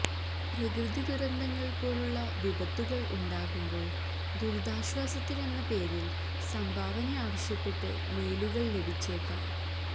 പ്രകുതി ദുരന്തങ്ങള് പോലുളള വിപത്തുകള് ഉണ്ടാകുമ്പോള് ദുരിതാശ്വാസത്തിനെന്ന പേരില് സംഭാവന ആവശ്യപ്പെട്ട് മെയിലുകള് ലഭിച്ചേക്കാം